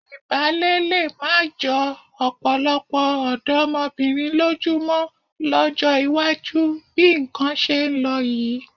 Ìbálé lé má jọ ọ̀pọ̀lọpọ̀ ọ̀dọ́mọbìnrin lójú mọ́ lọ́jọ́ iwájú bí nǹkan ṣe ń lọ yìí.